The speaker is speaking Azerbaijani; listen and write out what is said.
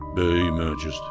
Böyük möcüzdür.